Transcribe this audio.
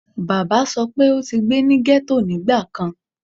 baba sọ pe o ti gbe ni ghetto nigbakan